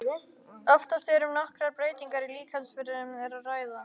Oftast er um nokkrar breytingar í líkamsfrumum að ræða.